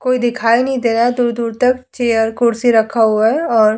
कोई दिखाई नहीं दे रहा है दूर-दूर तकक चेयर कुर्सी रखा हुआ है और --